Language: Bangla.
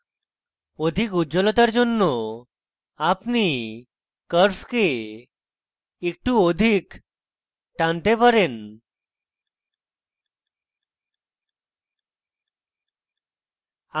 অধিক উজ্জ্বলতার জন্য আপনি curve একটু অধিক টানতে পারি